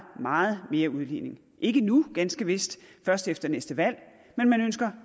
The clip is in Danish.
meget mere udligning ikke nu ganske vist først efter næste valg men man ønsker